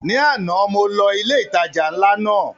Ní àná mo lọ ilé ìtajà ńlá náà